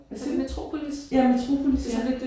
Hvad siger du? Ja Metropolis ja